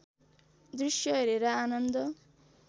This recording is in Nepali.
दृश्य हेरेर आनन्द